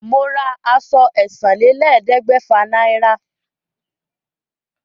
Mo ra àṣọ ẹ̀sánlélẹ́ẹ̀ẹ́dẹ́gbẹ́fà naira